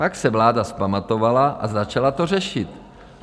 Pak se vláda vzpamatovala a začala to řešit.